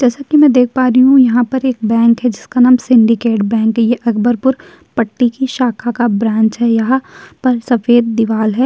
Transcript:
जैसा कि मैं देख पा रही हूँ यहाँ पर एक बैंक हैं जिसका नाम सिंडिकेट बैंक ए । ये अकबरपुर पट्टी की शाखा का ब्रांच हैं। यहाँ पर सफेद दीवाल है।